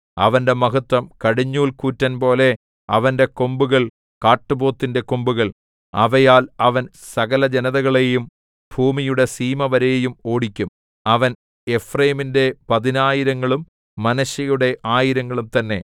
അവന്റെ മഹത്വം കടിഞ്ഞൂൽകൂറ്റൻ പോലെ അവന്റെ കൊമ്പുകൾ കാട്ടുപോത്തിന്റെ കൊമ്പുകൾ അവയാൽ അവൻ സകലജനതകളെയും ഭൂമിയുടെ സീമ വരെയും ഓടിക്കും അവർ എഫ്രയീമിന്റെ പതിനായിരങ്ങളും മനശ്ശെയുടെ ആയിരങ്ങളും തന്നേ